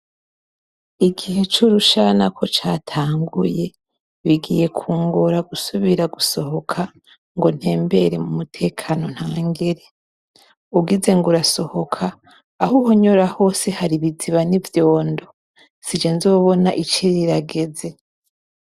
Igihe c'urushana ko catanguye, bigiye kungora gusubira gusohoka ngo ntembere mu mutekano ntangere. Ugize ngo urasohoka, aho uhonyora hose hari ibiziba n'ivyondo, si je nzobona ici rirageze.